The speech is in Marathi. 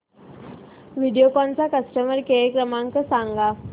व्हिडिओकॉन चा कस्टमर केअर क्रमांक सांगा